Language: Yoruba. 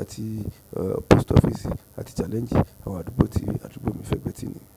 àti Post Office àti Challenge. Àwọn àdúgbò tí àdúgbò mi fẹ̀gbẹ́ ti nìyẹn.